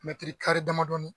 Mɛtiri damadɔnin.